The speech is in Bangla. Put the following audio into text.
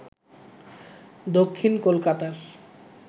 দক্ষিণ কলকাতার